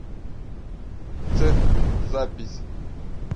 цех запись